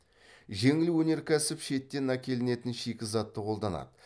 жеңіл өнеркәсіп шеттен әкелінетін шикізатты қолданады